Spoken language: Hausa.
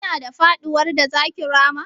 Kina da faɗuwar da zaki rama?